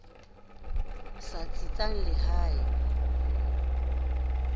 sa tsitsang le ha e